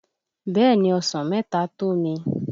Bẹ́ẹ̀ ni, Ọsàn mẹ́ta tó mi.